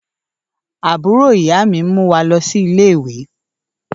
Àbúrò ìyá mi ń mú wá lọ sí ilé-ìwé